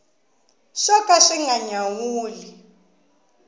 swo ka swi nga nyawuli